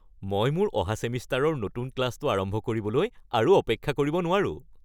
মই মোৰ অহা ছেমিষ্টাৰৰ নতুন ক্লাছটো আৰম্ভ কৰিবলৈ আৰু অপেক্ষা কৰিব নোৱাৰো!